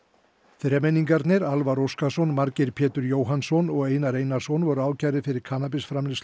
þremenningarnir Alvar Óskarsson Margeir Pétur Jóhannsson og Einar Einarsson voru ákærðir fyrir